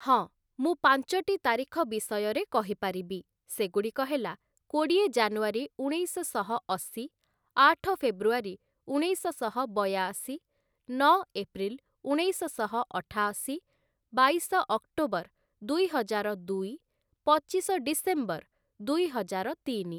ହଁ, ମୁଁ ପାଞ୍ଚଟି ତାରିଖ ବିଷୟରେ କହିପାରିବି, ସେଗୁଡ଼ିକ ହେଲା କୋଡ଼ିଏ ଜାନୁଆରୀ ଉଣେଇଶଶହ ଅଶି, ଆଠ ଫେବୃଆରୀ ଉଣେଇଶଶହ ବୟାଅଶି, ନଅ ଏପ୍ରିଲ ଉଣେଇଶଶହ ଅଠାଅଶୀ, ବାଇଶ ଅକ୍ଟୋବର ଦୁଇହଜାର ଦୁଇ, ପଚିଶ ଡିସେମ୍ବର ଦୁଇହଜାର ତିନି ।